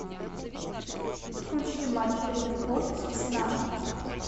включи матч ливерпуль с арсеналом